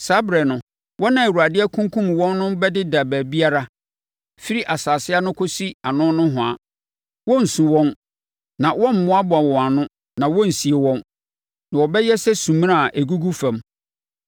Saa ɛberɛ no, wɔn a Awurade akunkum wɔn no bɛdeda baabiara, firi asase ano kɔsi ano nohoa. Wɔrensu wɔn na wɔremmoaboa wɔn ano na wɔrensie wɔn, na wɔbɛyɛ sɛ sumina a ɛgugu fam.